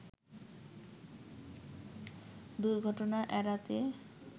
দুর্ঘটনা এড়াতে